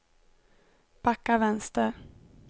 backa vänster